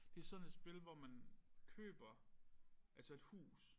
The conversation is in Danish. Det sådan et spil hvor man køber altså et hus